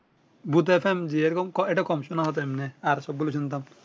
ভুত FM যে রকম কম শোনাবে এমনে আর সব গুলা শুনতাম